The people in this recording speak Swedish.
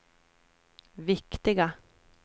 viktiga